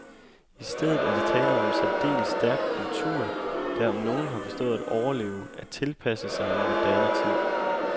I stedet er der tale om en særdeles stærk kultur, der om nogen har forstået at overleve, at tilpasse sig en moderne tid.